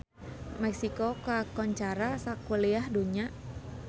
Meksiko kakoncara sakuliah dunya